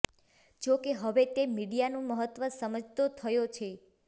જોકે હવે તે મીડિયાનું મહત્ત્વ સમજતો થયો છે